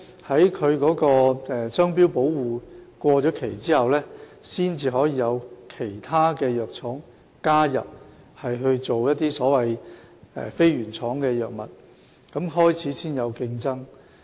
當它的商標保護期屆滿後，其他藥廠才可加入推出非原廠藥物，然後才開始有競爭。